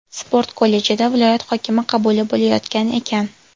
Sport kollejida viloyat hokimi qabuli bo‘layotgan ekan.